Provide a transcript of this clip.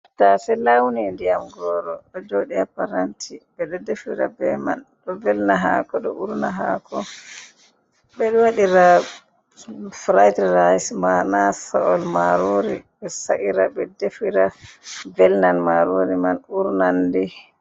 Tattase lawni ndiyam goro ɗo joɗi haa paranti, ɓe ɗo defira be man ɗo velna hako ɗo urna hako, ɓe ɗo waɗira furitrise, mana sa’ol marori ɓe sa’ira, ɓe defira velnan marori man urnandi.